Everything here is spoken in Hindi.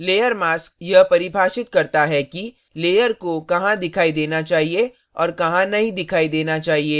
layer mask यह परिभाषित करता है कि layer को कहाँ दिखाई देना चाहिए और कहाँ नहीं दिखाई देना चाहिए